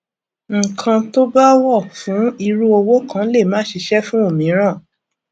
ǹkan tó bá wọ fún irú òwò kan lè má ṣíṣe fún òmíràn